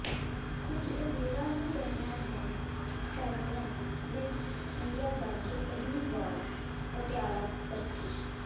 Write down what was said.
ਕੁਝ ਅਜਿਹਾ ਹੀ ਕਹਿਣਾ ਹੈ ਫੈਮਿਨਾ ਮਿਸ ਇੰਡੀਆ ਬਣ ਕੇ ਪਹਿਲੀ ਵਾਲ ਪਟਿਆਲਾ ਪਰਤੀ